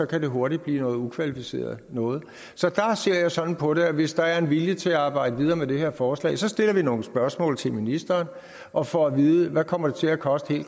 kan det hurtigt blive noget ukvalificeret noget så der ser jeg sådan på det at hvis der er en vilje til at arbejde videre med det her forslag stiller vi nogle spørgsmål til ministeren og får at vide hvad kommer til at koste